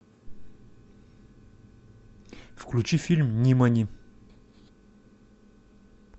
включи фильм нимани